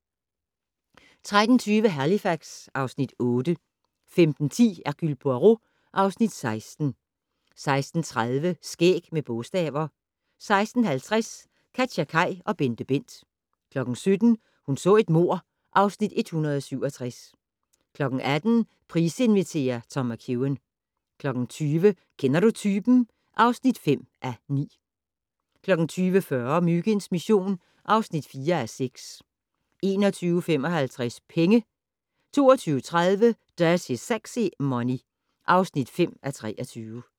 13:20: Halifax (Afs. 8) 15:10: Hercule Poirot (Afs. 16) 16:30: Skæg med bogstaver 16:50: KatjaKaj og BenteBent 17:00: Hun så et mord (Afs. 167) 18:00: Price inviterer - Tom McEwan 20:00: Kender du typen? (5:9) 20:40: Myginds mission (4:6) 21:55: Penge 22:30: Dirty Sexy Money (5:23)